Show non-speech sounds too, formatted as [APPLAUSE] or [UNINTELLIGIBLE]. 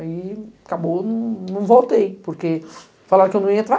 Aí acabou, [UNINTELLIGIBLE] voltei, porque falaram que eu não ia entrar.